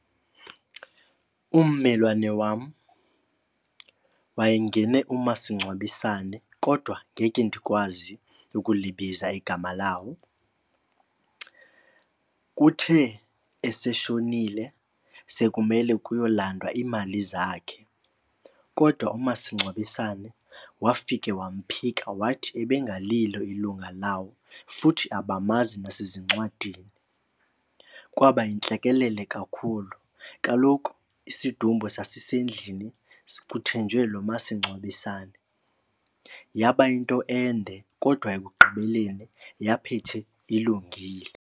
Ummelwane wam wayengene umasingcwabisane kodwa ngeke ndikwazi ukulibiza igama lawo. Kuthe eseshonile sekumele kuyolandwa iimali zakhe kodwa umasingcwabisane wafika wamphika wathi ebengalilo ilunga lawo futhi abamazi nasezincwadini. Kwaba yintlekelele kakhulu. Kaloku isidumbu sasisendlini kuthenjwe lo masingcwabisane. Yaba yinto ende kodwa ekugqibeleni yaphethe ilungile.